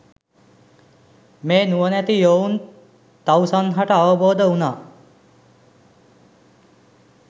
මේ නුවණැති යොවුන් තවුසන් හට අවබෝධ වුනා